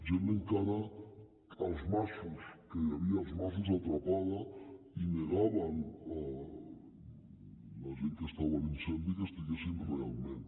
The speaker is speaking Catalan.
gent encara als masos que hi havia als masos atrapada i negaven la gent que estava a l’incendi que hi estiguessin realment